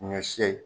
Ɲɔ si